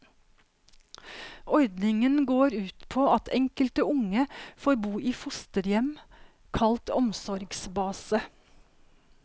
Ordningen går ut på at enkelte unge får bo i fosterhjem, kalt omsorgsbase.